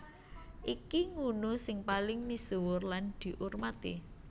Iki ngunu sing paling misuwur lan diurmati